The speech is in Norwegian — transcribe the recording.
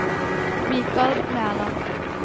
Mikal Mæland